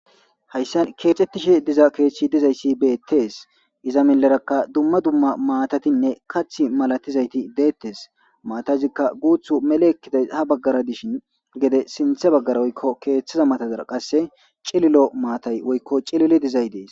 Haysan kexetishe diza kethiy iza miyeraka duma duma matatika kathi malatizayti detes mattazika guthu meli ekidaysi ha bagara dishin gede sintha bagara woykon kethaza matara cililo mattay woykon cililo dizay des